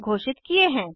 घोषित किये हैं